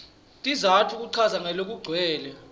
sizatfu kuchaza ngalokugcwele